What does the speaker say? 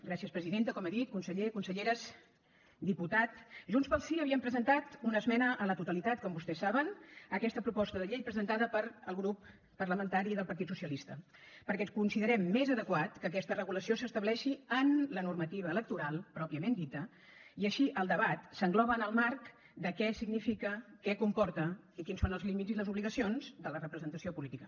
gràcies presidenta com he dit conseller conselleres diputat junts pel sí havíem presentat una esmena a la totalitat com vostès saben a aquesta proposta de llei presentada pel grup parlamentari del partit socialista perquè considerem més adequat que aquesta regulació s’estableixi en la normativa electoral pròpiament dita i així el debat s’engloba en el marc de què significa què comporta i quins són els límits i les obligacions de la representació política